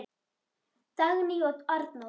Dagný og Arnór